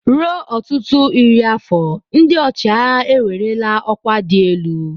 Ruo ọtụtụ iri afọ, ndị ọchịagha ewerela ọkwa dị elu.